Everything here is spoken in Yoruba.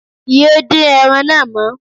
Yé dín ẹran náà mọ́